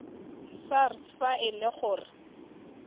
sars fa e le gore